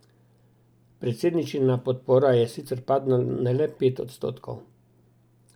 Predsedničina podpora je sicer padla na le pet odstotkov.